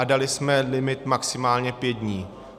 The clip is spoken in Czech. A dali jsme limit maximálně pět dní.